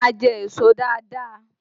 Ẹ máa jẹ èso dáadáa!